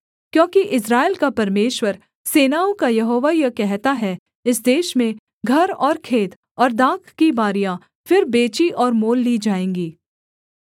क्योंकि इस्राएल का परमेश्वर सेनाओं का यहोवा यह कहता है इस देश में घर और खेत और दाख की बारियाँ फिर बेची और मोल ली जाएँगी